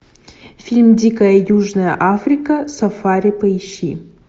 фильм дикая южная африка сафари поищи